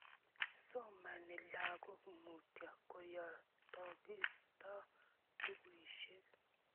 Somani lagok mutyo, koyotokistos bukuisiek